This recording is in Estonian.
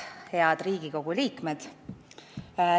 Head Riigikogu liikmed!